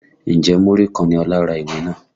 Ǹjẹ́ múrí kan ni Ọlá ra ìwé náà?